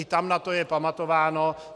I tam na to je pamatováno.